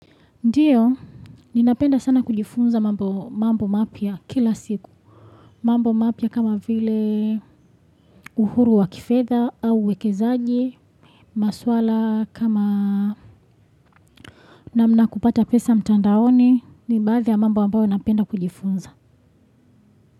Ndiyo, ninapenda sana kujifunza mambo mapya kila siku. Mambo mapya kama vile uhuru wa kifedha au uwekezaji, maswala kama namna kupata pesa mtandaoni, ni baadhi ya mambo ambayo napenda kujifunza.